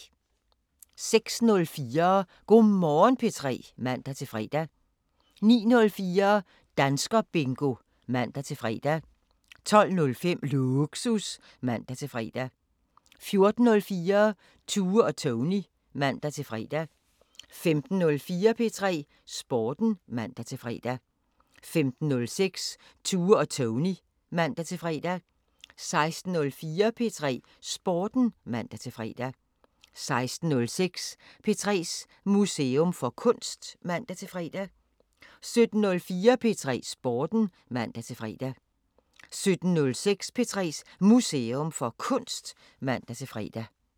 06:04: Go' Morgen P3 (man-fre) 09:04: Danskerbingo (man-fre) 12:05: Lågsus (man-fre) 14:04: Tue og Tony (man-fre) 15:04: P3 Sporten (man-fre) 15:06: Tue og Tony (man-fre) 16:04: P3 Sporten (man-fre) 16:06: P3s Museum for Kunst (man-fre) 17:04: P3 Sporten (man-fre) 17:06: P3s Museum for Kunst (man-fre)